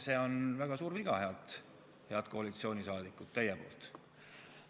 See on väga suur viga, head koalitsiooni liikmed, teie poolt.